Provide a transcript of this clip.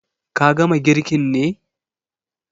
Ka gama girkin ne?